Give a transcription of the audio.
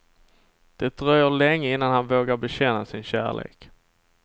Det dröjer länge innan han vågar bekänna sin kärlek.